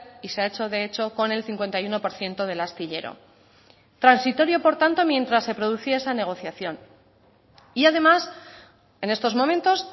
y se ha hecho de hecho con el cincuenta y uno por ciento del astillero transitorio por tanto mientras se producía esa negociación y además en estos momentos